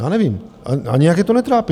Já nevím a nijak je to netrápí.